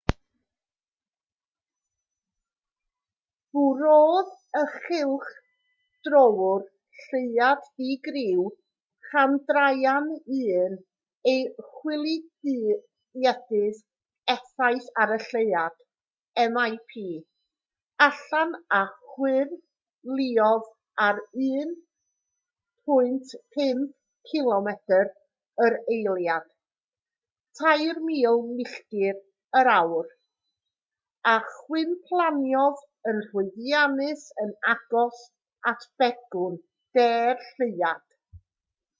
bwrodd y cylchdröwr lleuad di-griw chandrayaan-1 ei chwiliedydd effaith ar y lleuad mip allan a chwyrlïodd ar 1.5 cilomedr yr eiliad 3000 milltir yr awr a chwymplaniodd yn llwyddiannus yn agos at begwn de'r lleuad